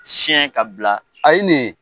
Siyɛn ka bila a ye nin ye.